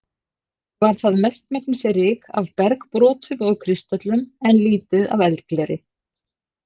Var það mestmegnis ryk af bergbrotum og kristöllum, en lítið af eldgleri.